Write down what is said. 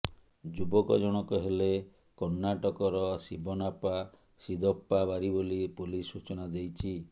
ଯୁବକ ଜଣଙ୍କ ହେଲେ କର୍ଣ୍ଣାଟକର ଶିବନାପା ଶିଦପ୍ପା ବାରୀ ବୋଲି ପୋଲିସ୍ ସୂଚନା ଦେଇଛି